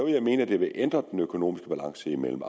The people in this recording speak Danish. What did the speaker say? jeg mene at det vil ændre den økonomiske balance mellem